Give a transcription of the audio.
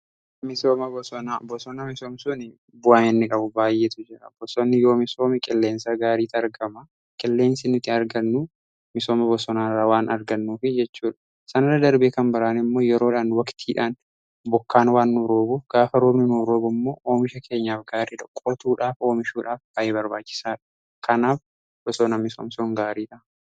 Bosona misoomsun bu'aan innii qabu baay'eetu jira bosonni yoo misoomee qilleensaa gaariitu argama qilleensii nuti argannu misooma bosonaarraa waan argannuuf jechuudha. Sanirra darbee kan biraan immoo yeroodhaan waqtiidhaan bokkaan waan nuu roobu gaafa roobni nuu roobu immoo oomisha keenyaaf gaarii dhoqqootuudhaaf, oomishuudhaaf bay'ee barbaachisaa kanaaf bosoona misoomsun gaariidha.